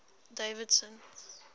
davidson